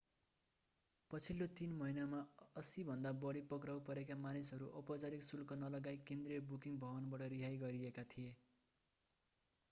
पछिल्लो 3 महिनामा 80 भन्दा बढी पक्राउ परेका मानिसहरू औपचारिक शुल्क नलगाई केन्द्रीय बुकिङ भवनबाट रिहाई गरिएका थिए